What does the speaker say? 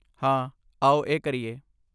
ਹਾਂ, ਆਓ ਇਹ ਕਰੀਏ।